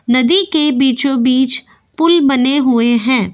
नदी के बीचों बीच पूल बने हुये हैं।